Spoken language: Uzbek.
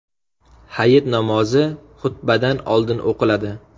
Hayit namozi xutbadan oldin o‘qiladi.